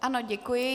Ano, děkuji.